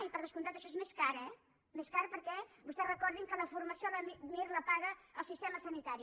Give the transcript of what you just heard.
i per descomptat això és més car eh més car perquè vostès recordin que la formació mir la paga el sistema sanitari